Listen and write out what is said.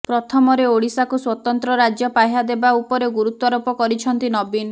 ପ୍ରଥମରେ ଓଡ଼ିଶାକୁ ସ୍ବତନ୍ତ୍ର ରାଜ୍ୟ ପାହ୍ୟା ଦେବା ଉପରେ ଗୁରୁତ୍ବାରୋପ କରିଛନ୍ତି ନବୀନ